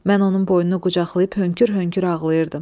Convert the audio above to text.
Mən onun boynunu qucaqlayıb hönkür-hönkür ağlayırdım.